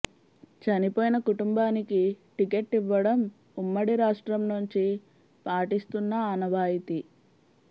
చనిపోయిన కుటుంబానికి టికెట్ ఇవ్వడం ఉమ్మడి రాష్ట్రం నుంచి పాటిస్తున్న ఆనవాయితీ